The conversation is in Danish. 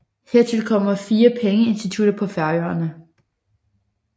Hertil kommer 4 pengeinstitutter på Færøerne